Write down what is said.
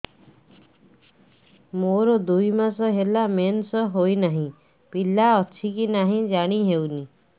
ମୋର ଦୁଇ ମାସ ହେଲା ମେନ୍ସେସ ହୋଇ ନାହିଁ ପିଲା ଅଛି କି ନାହିଁ ଜାଣି ହେଉନି